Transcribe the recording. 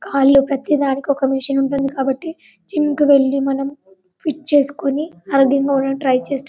కాలు ప్రతి ధానికి ఒక మెషిన్ ఉంటుంది కాబట్టి జిం కి వెళ్లి మనం ఫిట్ చేసుకొని ట్రై చేస్తూ --